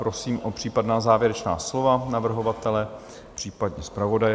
Prosím o případná závěrečná slova navrhovatele, případně zpravodaje.